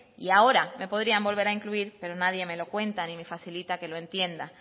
y ahora me podrían volver a incluir pero nadie me lo cuenta ni me facilita que lo entienda